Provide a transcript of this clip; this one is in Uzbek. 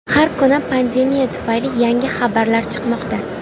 Har kuni pandemiya tufayli yangi xabarlar chiqmoqda.